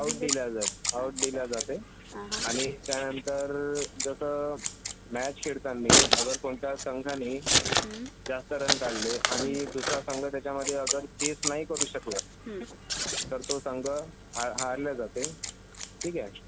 Out दिला जाते आणि त्यांनंतर जसं मॅच खेळतानी अगर कोणत्या संघांनी जास्त रन काढले आणि दूसरा संघ त्यांच्यामधे अगर चेस नाही करु शकले तर तो संघ हारले जाते. ठीक आहे.